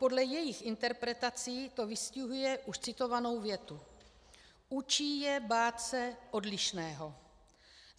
Podle jejich interpretací to vystihuje už citovanou větu: Učí je bát (?) se odlišného.